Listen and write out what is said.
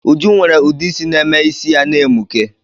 Uju nwere udeisi na-eme is ya na-emuke